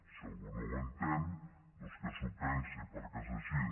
si algú no ho entén doncs que s’ho pensi perquè és així